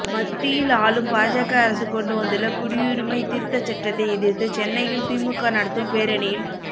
மத்தியில் ஆளும் பாஜக அரசு கொண்டுவந்துள்ள குடியுரிமைத் திருத்தச் சட்டத்தை எதிர்த்து சென்னையில் திமுக நடத்தும் பேரணியில்